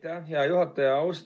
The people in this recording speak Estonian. Aitäh, hea juhataja!